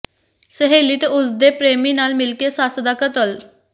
ਸਹੇਲੀ ਤੇ ਉਸ ਦੇ ਪ੍ਰੇਮੀ ਨਾਲ ਮਿਲ ਕੇ ਸੱਸ ਦਾ ਕਤਲ